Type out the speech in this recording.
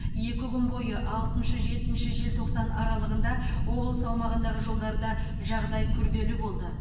екі күн бойы алтыншы жетінші желтоқсан аралығында облыс аумағындағы жолдарда жағдай күрделі болды